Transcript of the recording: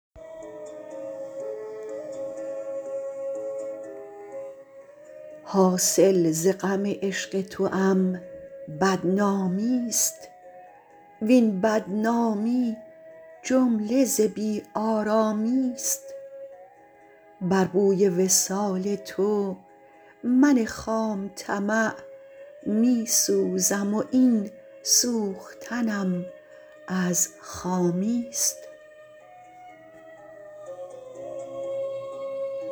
حاصل ز غم عشق توام بدنامیست وین بدنامی جمله ز بیآرامیست بر بوی وصال تو من خام طمع میسوزم و این سوختنم از خامیست